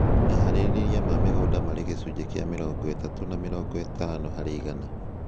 Meharĩria ma mĩgũnda marĩ gĩcunjĩ kĩa mĩrongo ĩtatũ na mĩrongo ĩtano harĩ igana